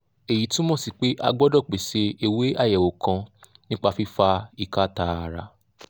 èyí túmọ̀ sí pé a gbọdọ̀ pèsè ewé àyẹ̀wò kan nípa fífa ìka tààrà